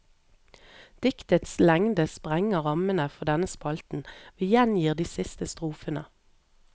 Diktets lengde sprenger rammene for denne spalten, vi gjengir de siste strofene.